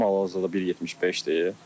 Boyum hal-hazırda 1.75-dir.